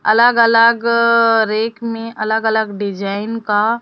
अलग अलग अअ रेट में अलग अलग डिजाइन का--